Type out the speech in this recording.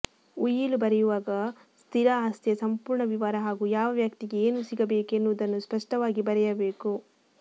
ಉಯಿಲು ಬರೆಯುವಾಗ ಸ್ಥಿರ ಆಸ್ತಿಯ ಸಂಪೂರ್ಣ ವಿವರ ಹಾಗೂ ಯಾವ ವ್ಯಕ್ತಿಗೆ ಏನು ಸಿಗಬೇಕು ಎನ್ನುವುದನ್ನು ಸ್ಪಷ್ಟವಾಗಿ ಬರೆಯಬೇಕು